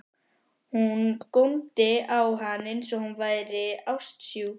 Hún góndi á hann eins og hún væri ástsjúk.